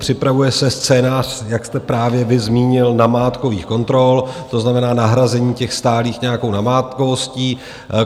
Připravuje se scénář, jak jste právě vy zmínil, namátkových kontrol, to znamená nahrazení těch stálých nějakou namátkovostí.